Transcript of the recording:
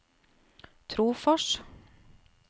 Trofors